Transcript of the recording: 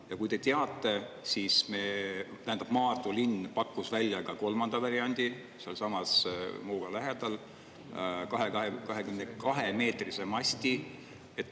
Ja kui te teate, siis me, tähendab, Maardu linn pakkus välja ka kolmanda variandi sealsamas Muuga lähedal, 22 meetrise masti.